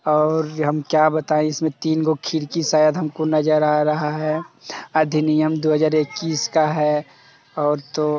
और ये हम क्या बतायें इसमे तीन गो खिड़की शायद हमको नजर आ रहा है| अधिनियम दो हजार एककिस का है और तो --